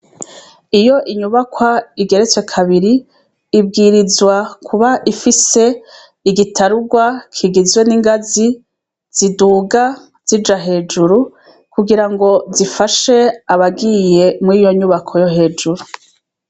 Iyo inyubakwa igeretswe kabiri ibwirizwa Kuba ifise igitarugwa kigizwe n'ingazi ziduga zija hejuru kugira ngo zifashe abagiye muri iyo nyubako yo hejuru.